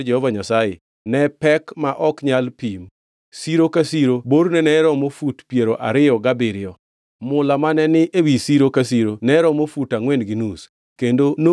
Mula mane ogolo e sirni ariyo, gi Karaya Maduongʼ kod rachungi mag taya, mane Solomon olosone hekalu mar Jehova Nyasaye, ne pek ma ok nyal pim.